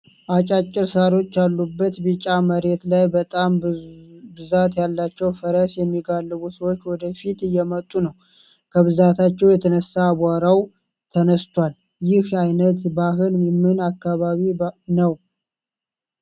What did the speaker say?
አጫጭር ሳሮች ያሉበት ቢጫ መሬት ላይ በጣም ብዛት ያላቸው ፈረስ የሚጋልቡ ሰዎች ወደ ፊት እየመጡ ነው። ከብዛታቸው የተነሳም አቧራው ተነስቷል። ይህ አይነት ባህል የምን አካባቢ ባህል ነው?